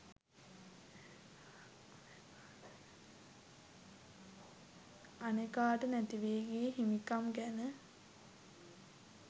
අනෙකාට නැතිවී ගිය හිමිකම් ගැන